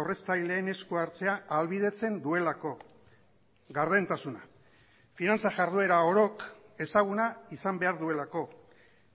aurreztaileen esku hartzea ahalbidetzen duelako gardentasuna finantza jarduera orok ezaguna izan behar duelako